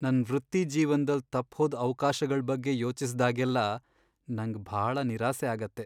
ನನ್ ವೃತ್ತಿ ಜೀವನ್ದಲ್ ತಪ್ಹೋದ್ ಅವ್ಕಾಶ್ಗಳ್ ಬಗ್ಗೆ ಯೋಚಿಸ್ದಾಗೆಲ್ಲ ನಂಗ್ ಭಾಳ ನಿರಾಸೆ ಆಗತ್ತೆ.